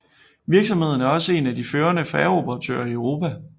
Virksomheden er også en af de førende færgeoperatører i Europa